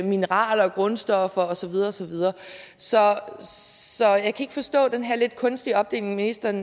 mineraler og grundstoffer og så videre og så videre så jeg kan ikke forstå den her lidt kunstige opdeling ministeren